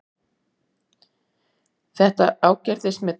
Þetta ágerðist með tímanum.